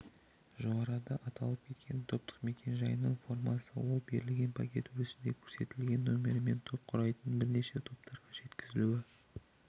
жоғарыда аталып кеткен топтық мекен-жайының формасы ол берілген пакет өрісінде көрсетілген нөмірімен топ құрайтын бірнеше топтарға жеткізілуі